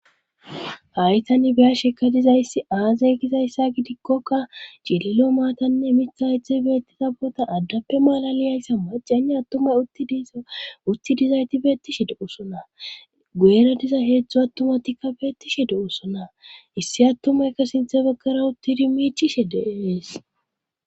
Hay tan biyasheka dizayssi aazey gizayssa gidikkoka cililo maatanne mitha hedzdzhey beettiza boota addappe malaliyayssa macenne attumay utidiz utti dizayti beettishi de'osona gueera diza heedzdzu attumatikka beettishi de usona issi attumaykka sinthe bagkara uttidi miichishe deees.